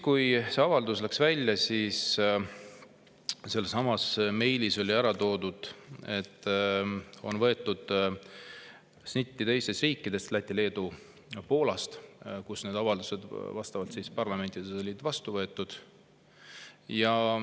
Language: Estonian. Kui see avaldus välja läks, siis sellessamas meilis oli ära toodud, et on võetud snitti teistest riikidest, Lätist, Leedust ja Poolast, kus need avaldused on parlamentides vastu võetud.